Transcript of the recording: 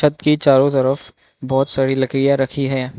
की चारो तरफ बहोत सारी लकड़िया रखी है।